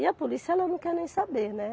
E a polícia, ela não quer nem saber, né?